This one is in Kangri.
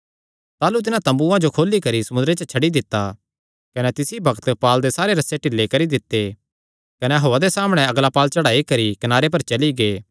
ताह़लू तिन्हां तम्बूआं जो खोली करी समुंदरे च छड्डी दित्ता कने तिस ई बग्त पाल दे सारे रस्से ढिले करी दित्ते कने हौआ दे सामणै अगला पाल चढ़ाई करी कनारे पर चली गै